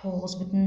тоғыз бүтін